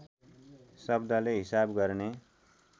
शब्दले हिसाब गर्ने